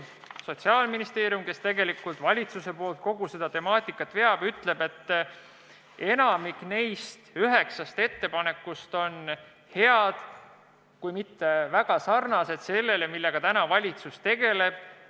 Sotsiaalministeerium, kes valitsuse nimel kogu seda temaatikat veab, ütleb, et enamik neist üheksast ettepanekust on head ja sarnased projektiga, millega valitsus tegeleb.